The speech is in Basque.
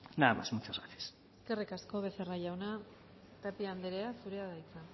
nada más muchas gracias eskerrik asko becerra jauna tapia andrea zurea da hitza